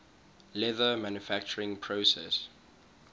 leather manufacturing process